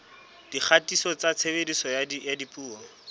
dikgatiso tsa tshebediso ya dipuo